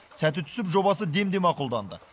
сәті түсіп жобасы демде мақұлданды